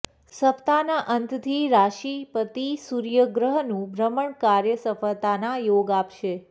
સપ્તાહના અંતથી રાશી પતી સુર્યગ્રહનું ભ્રમણ કાર્ય સફળતાના યોગ આપશે